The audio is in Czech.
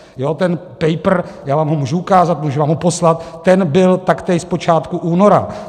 Jo, ten paper - já vám ho můžu ukázat, můžu vám ho poslat - ten byl taktéž z počátku února.